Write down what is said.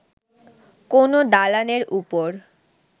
কোন দালানের ওপর